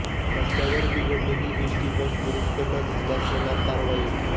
रस्त्यावर बिघडलेली ST bus दुरुस्त न झाल्यास होणार कारवाई